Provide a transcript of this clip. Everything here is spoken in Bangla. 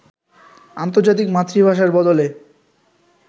আন্তর্জাতিক মাতৃভাষার বদলে